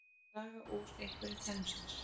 Að draga úr einhverju tennurnar